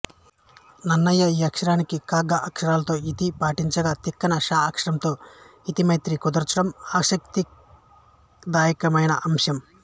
నన్నయ్య ఈ అక్షరానికి క గ అక్షరాలతో యతి పాటించగా తిక్కన ష అక్షరంతో యతిమైత్రి కుదర్చడం ఆసక్తిదాయకమైన అంశం